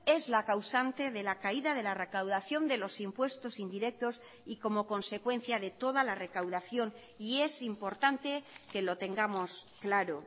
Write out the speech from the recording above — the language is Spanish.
es la causante de la caída de la recaudación de los impuestos indirectos y como consecuencia de toda la recaudación y es importante que lo tengamos claro